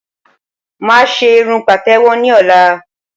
Mà á ṣé irun pàtẹ̀wọ́ ní ọ̀la